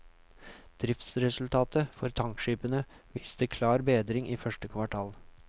Driftsresultatet for tankskipene viste klar bedring i første kvartal.